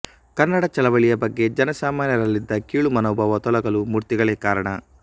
ಕನ್ನಡ ಚಳವಳಿಯ ಬಗ್ಗೆ ಜನಸಾಮಾನ್ಯರಲ್ಲಿದ್ದ ಕೀಳು ಮನೋಭಾವ ತೊಲಗಲೂ ಮೂರ್ತಿಗಳೇ ಕಾರಣ